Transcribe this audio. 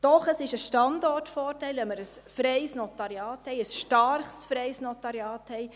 Doch, es ist ein Standortvorteil, wenn wir ein freies Notariat haben, ein starkes freies Notariat.